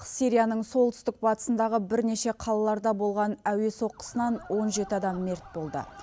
сирияның солтүстік батысындағы бірнеше қалаларда болған әуе соққысынан он жеті адам мерт болды